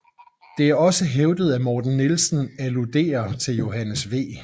Det er også hævdet at Morten Nielsen alluderer til Johannes V